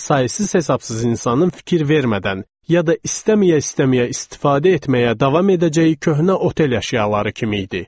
Sayısız hesabsız insanın fikir vermədən ya da istəməyə-istəməyə istifadə etməyə davam edəcəyi köhnə otel əşyaları kimi idi.